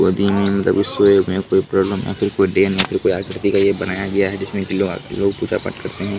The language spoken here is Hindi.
वो दिन जब उसको आकृति में बनाया गया है जिसमें की लोग आकर रोज पूजा-पाठ करते है।